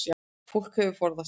Fólk hefði forðað sér